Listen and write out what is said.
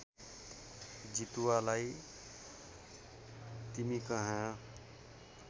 जितुवालाई तिमी कहाँ